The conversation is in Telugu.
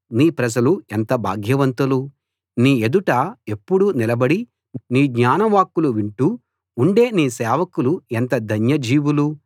నీ ప్రజలు ఎంత భాగ్యవంతులు నీ ఎదుట ఎప్పుడూ నిలబడి నీ జ్ఞానవాక్కులు వింటూ ఉండే నీ సేవకులు ఎంత ధన్య జీవులు